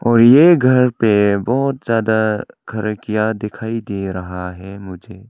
और ये घर पे बहुत ज्यादा खिड़कियां दिखाई दे रहा है मुझे।